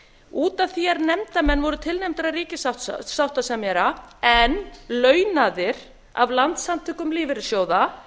út af því að nefndarmenn voru tilnefndir af ríkissáttasemjara en launaðir af landssamtökum lífeyrissjóða